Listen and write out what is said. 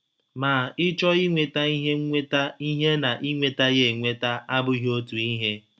Ma ịchọ inweta ihe inweta ihe na inweta ya enweta abụghị otu ihe.